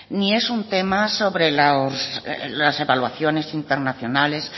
ni es un tema sobre los evaluaciones internacionales